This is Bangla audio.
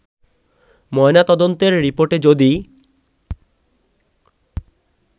ময়না তদন্তের রিপোর্টে যদি